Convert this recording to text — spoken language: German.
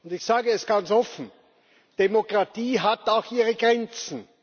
Ich sage es ganz offen Demokratie hat auch ihre Grenzen.